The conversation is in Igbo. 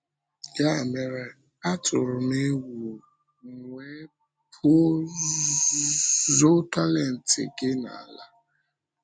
Ya mere, atụrụ m egwu, m wee pụọ zoo talent gị n’ala.